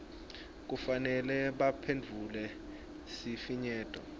kufanele baphendvule sifinyeto